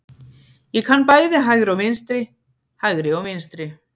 Ég kann bæði hægri og vinstri, hægri og vinstri.